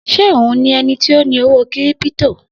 Se òhun ni ẹnití ọ ní owó kiripito?